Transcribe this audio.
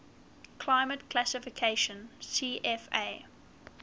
climate classification cfa